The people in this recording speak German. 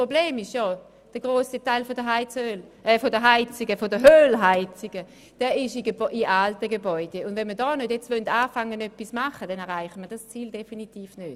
Das Problem besteht darin, dass sich der grosse Teil der Ölheizungen in den alten Gebäuden befindet, und wenn wir jetzt nicht etwas unternehmen, erreichen wir das Ziel definitiv nicht.